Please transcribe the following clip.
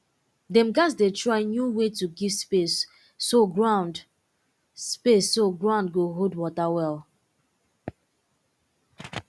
dem um dey try um new way to give space so ground space so ground go hold water well